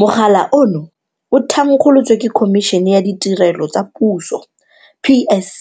Mogala ono o thankgolotswe ke Khomišene ya Ditirelo tsa Puso PSC